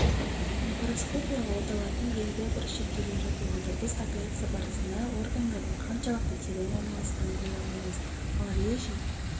лапароскопиялық оталардың белгілі-бір шектеулері болады біз операция барысында органдардың қаншалықты терең орналасқанын көре алмаймыз ал режим